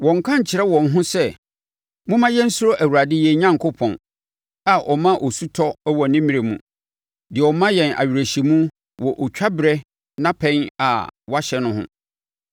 Wɔnnka nkyerɛ wɔn ho sɛ, ‘Momma yɛnsuro Awurade yɛn Onyankopɔn, a ɔma osu tɔ wɔ ne mmerɛ mu, deɛ ɔma yɛn awerɛhyɛmu wɔ ɔtwaberɛ nnapɛn a wahyɛ no ho.’